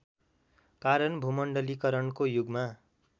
कारण भूमण्डलीकरणको युगमा